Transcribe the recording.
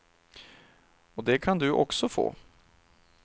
Och det kan du också få.